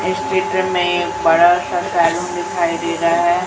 इस चित्र मे बड़ा सा सैलून दिखाई दे रहा है।